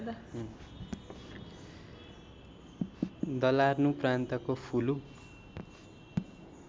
Dalarna प्रान्तको फुलु